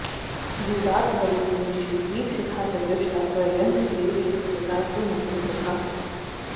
दूरात् करोति निशि दीपशिखा च दृष्टा पर्यन्तदेशविसृतासु मतिं प्रभासु